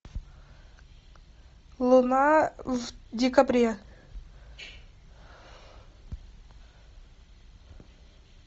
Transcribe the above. луна в декабре